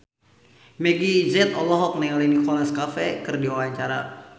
Meggie Z olohok ningali Nicholas Cafe keur diwawancara